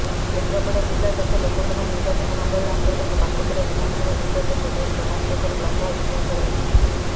କେନ୍ଦ୍ରାପଡା ଜିଲ୍ଲା ତଥା ଲୋକସଭା ନିର୍ବାଚନମଣ୍ଡଳୀ ଅର୍ନ୍ତଗତ ପାଟକୁରା ବିଧାନସଭା ନିର୍ବାଚନର ବେଶ୍ ରୋମାଞ୍ଚକର ଲମ୍ବା ଇତିହାସ ରହିଛି